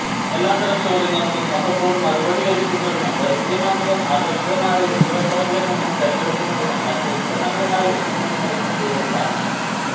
എല്ലാത്തരം ചോദ്യങ്ങൾക്കും അപ്പപ്പോൾ മറുപടി ലഭിക്കുന്നതിനും വൈവിധ്യമാർന്നതും ആകർഷകമായ രൂപകൽപ്പനകളിൽനിന്നും തെരഞ്ഞെടുക്കുന്നതിനും മറ്റ് ഉത്പന്നങ്ങളുമായി ഒത്തുനോക്കുന്നതിനും ഇതുവഴി സാധിക്കും